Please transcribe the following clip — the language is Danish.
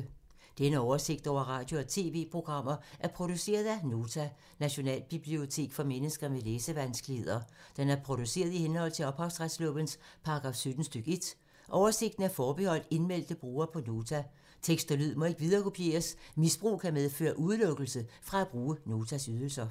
Denne oversigt over radio og TV-programmer er produceret af Nota, Nationalbibliotek for mennesker med læsevanskeligheder. Den er produceret i henhold til ophavsretslovens paragraf 17 stk. 1. Oversigten er forbeholdt indmeldte brugere på Nota. Tekst og lyd må ikke viderekopieres. Misbrug kan medføre udelukkelse fra at bruge Notas ydelser.